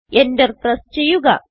Enter press ചെയ്യുക